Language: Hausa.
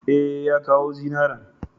E, ya kawo zinaran.